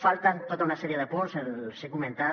falten tota una sèrie de punts els hi he comentat